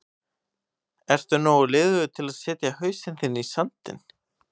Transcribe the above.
Ertu nógu liðugur til að setja hausinn þinn í sandinn?